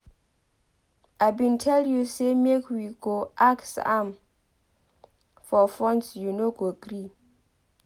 I bin tell you say make we go ask am for funds you no gree